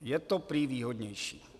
Je to prý výhodnější.